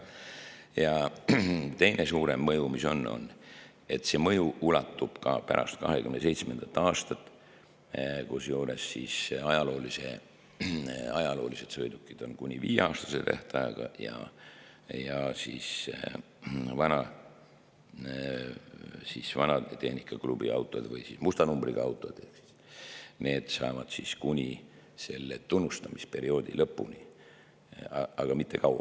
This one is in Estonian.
Ja teine suurem mõju ulatub ka aega pärast 2027. aastat, kusjuures ajaloolised sõidukid on kuni viieaastase tähtajaga ja vanatehnikaklubi autod ehk musta numbriga autod saavad siis kuni selle tunnustamisperioodi lõpuni, aga mitte kauem.